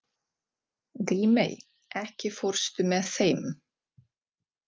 Grímey, ekki fórstu með þeim?